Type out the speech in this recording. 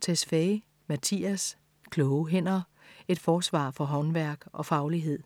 Tesfaye, Mattias: Kloge hænder: et forsvar for håndværk og faglighed